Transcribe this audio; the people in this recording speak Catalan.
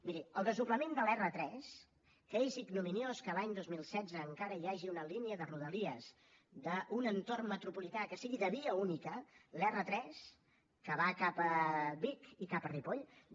miri el desdoblament de la r3 que és ignominiós que l’any dos mil setze encara hi hagi una línia de rodalies d’un entorn metropolità que sigui de via única la r3 que va cap a vic i cap a ripoll